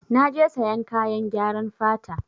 Na je sayan kayan gyaran fata.